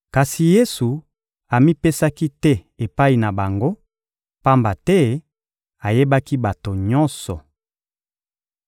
Kasi Yesu amipesaki te epai na bango, pamba te ayebaki bato nyonso.